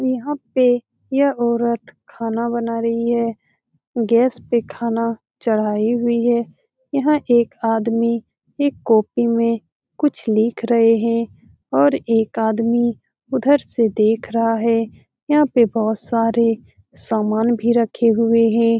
यहाँ पे यह औरत खाना बना रही है गैस पे खाना चढ़ाई हुई है यहाँ एक आदमी एक कॉपी में कुछ लिख रहे हैं और एक आदमी उधर से देख रहा है यहाँ पे बहोत सारे सामान भी रखे हुए हैं।